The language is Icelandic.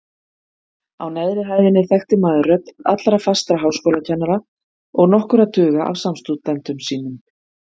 Á neðri hæðinni þekkti maður rödd allra fastra háskólakennara og nokkurra tuga af samstúdentum sínum.